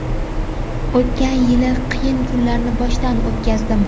O‘tgan yil qiyin kunlarni boshdan o‘tkazdim.